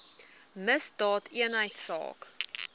misdaadeenheidsaak